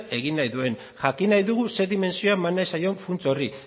egin nahi duen jakin nahi dugu ze dimentsioa eman nahi zaion funts horri